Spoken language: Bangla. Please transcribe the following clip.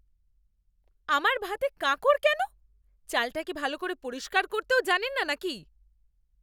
আমার ভাতে কাঁকর কেন? চালটা কি ভালো করে পরিষ্কার করতেও জানেন না নাকি?